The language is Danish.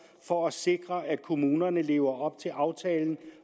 for at sikre at kommunerne lever op til aftalen